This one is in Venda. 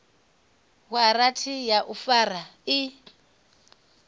waranthi ya u fara i